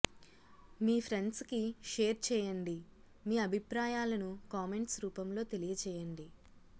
మీ friends కి share చేయండి మీ అభిప్రాయాలను కామెంట్స్ రూపంలో తెలియజేయండి